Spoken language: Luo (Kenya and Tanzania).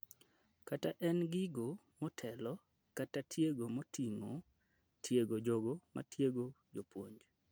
kata en e gigo motelo kata tiego moting'o tiego jogo matiego jopuonj